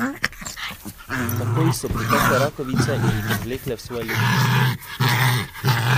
Takoj so pritekle rakovice in jih odvlekle v svoje luknje.